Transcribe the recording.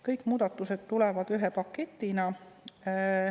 Kõik muudatused tulevad ühe paketina.